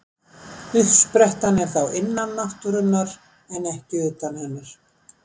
Uppsprettan er þá innan náttúrunnar en ekki utan hennar.